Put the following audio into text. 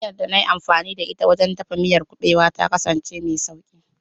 Hanyar da na yi amfani da ita wajen dafa miyar kuɓewa ta kasance mai sauƙi.